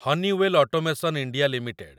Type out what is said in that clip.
Honeywell automation India limited